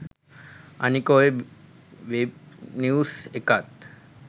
අනික ඔය web news එකත්